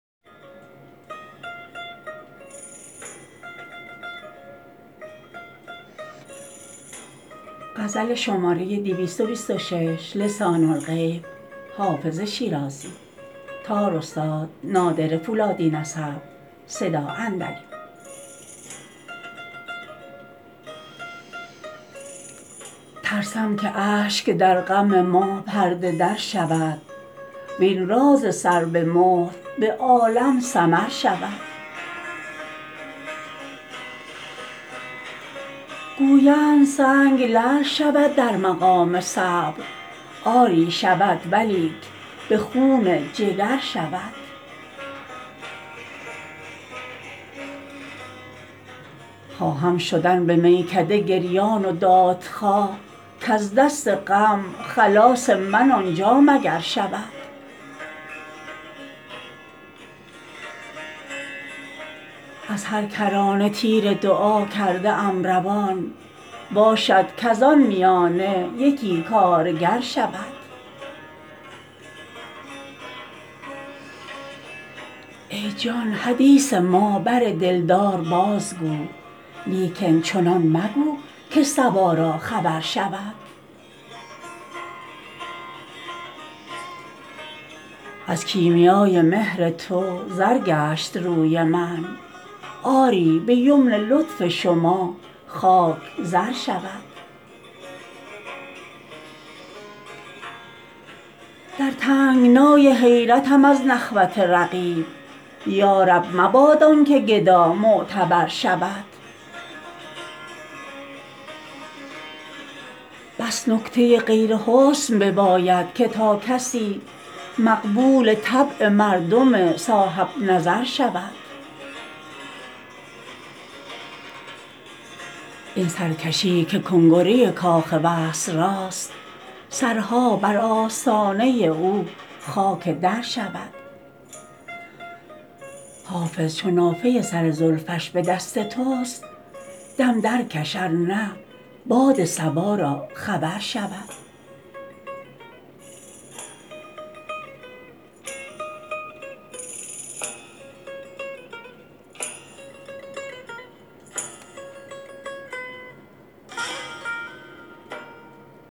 ترسم که اشک در غم ما پرده در شود وین راز سر به مهر به عالم سمر شود گویند سنگ لعل شود در مقام صبر آری شود ولیک به خون جگر شود خواهم شدن به میکده گریان و دادخواه کز دست غم خلاص من آنجا مگر شود از هر کرانه تیر دعا کرده ام روان باشد کز آن میانه یکی کارگر شود ای جان حدیث ما بر دلدار بازگو لیکن چنان مگو که صبا را خبر شود از کیمیای مهر تو زر گشت روی من آری به یمن لطف شما خاک زر شود در تنگنای حیرتم از نخوت رقیب یا رب مباد آن که گدا معتبر شود بس نکته غیر حسن بباید که تا کسی مقبول طبع مردم صاحب نظر شود این سرکشی که کنگره کاخ وصل راست سرها بر آستانه او خاک در شود حافظ چو نافه سر زلفش به دست توست دم درکش ار نه باد صبا را خبر شود